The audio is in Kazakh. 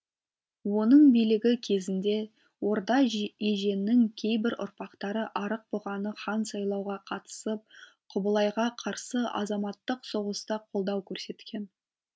оның билігі кезінде орда еженнің кейбір ұрпақтары арықбұғаны хан сайлауға қатысып құбылайға қарсы азаматтық соғыста қолдау көрсеткен